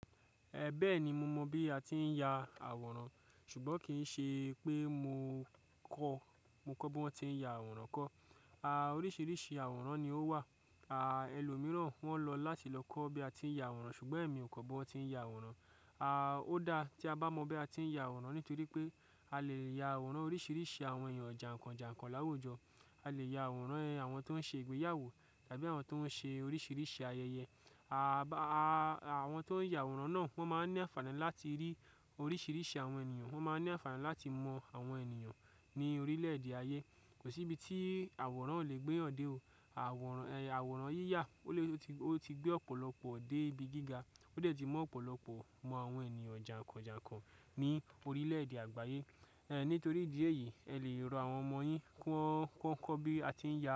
Ẹ bẹ́ẹ̀ni mo mọ̀ bí a ti ń ya àwòrán ṣùgbọ́n kì í ṣe pé mo kọ́, mo kọ́ bí wọ́n ti ń ya àwòrán kọ́. À, oríṣiríṣi àwòrán ni ó wà. À, ẹlòmíràn wọ́n lọ láti lọ kọ́ bí a ti ń ya àwòrán ṣùgbọ́n èmi ò kọ́ bí wọ́n ti ń ya àwòrán. À, ó dáa tí a bá mọ bí a ti ń ya àwòrán nítorí pé a lè ya àwòrán oríṣiríṣi àwọn èèyàn jàǹkàn jàǹkàn láwùjọ. A lè ya àwòrán àwọn tó ń ṣe ìgbéyàwó tàbí àwọn tó ń ṣe oríṣiríṣi ayẹyẹ. À, àwọn tó ń ya àwòrán náà wọ́n máa ń ní àfààní láti rí oríṣiríṣi àwọn ènìyàn, wọ́n máa ń ní àfààní láti mọ àwọn ènìyàn ní orílẹ̀ èdè ayé. Kò sí ibi tí àwòrán lolè gbé ọ̀dẹ̀ o. Àwòrán, àwòrán yíyà ó ti gbé ọ̀pọ̀lọpọ̀ ọ̀dẹ̀ ibi gíga, ó dẹ̀ ti mọ̀ ọ̀pọ̀lọpọ̀ mọ àwọn ènìyàn jàǹkàn jàǹkàn ní orílẹ̀ èdè àgbáyé. Ẹ nítorí ìdí èyí ẹ lè rọ àwọn ọmọ yín kí wọ́n kọ́ bí a ti ń ya àwòrán.